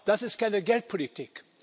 Aber das ist keine Geldpolitik.